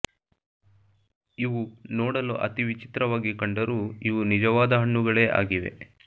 ಇವು ನೋಡಲು ಅತಿ ವಿಚಿತ್ರವಾಗಿ ಕಂಡರೂ ಇವು ನಿಜವಾದ ಹಣ್ಣುಗಳೇ ಆಗಿವೆ